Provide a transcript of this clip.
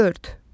Dörd.